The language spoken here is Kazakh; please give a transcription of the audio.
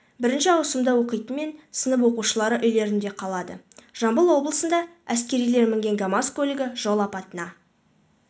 бірінші ауысымда оқитын мен сынып оқушылары үйлерінде қалады жамбыл облысында әскерилер мінген камаз көлігі жол апатына